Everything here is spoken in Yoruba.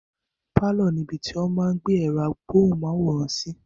Pálọ̀ ní ibi tí wọ́n máa n gbé ẹ̀rọ amóhùnmáwòrán sí